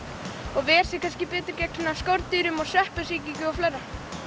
og ver sig betur gegn skordýrum og sveppasýkingum og fleiru